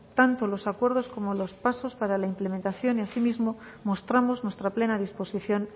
tanto los acuerdos como los pasos para la implementación y asimismo mostramos nuestra plena disposición